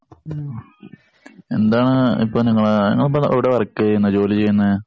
എന്താണ് ഇപ്പോ നിങ്ങളെ നിങ്ങള് ഇപ്പോ എവിടാ വർക്ക് ചെയ്യുന്നെ? ജോലി ചെയ്യുന്നെ?